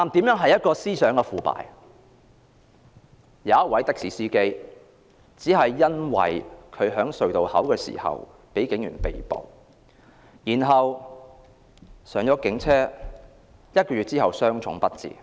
有一名的士司機在隧道的收費亭被警員拘捕，然後登上警車，在一個月後傷重不治。